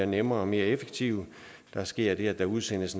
nemmere og mere effektiv der sker det at der udsendes